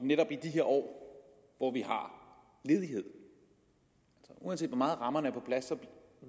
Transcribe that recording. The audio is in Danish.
netop i de her år hvor vi har ledighed uanset hvor meget rammerne er på plads